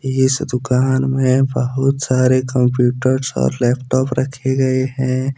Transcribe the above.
इस दुकान में बहुत सारे कम्प्यूटर्स और लैपटॉप रखे गए है।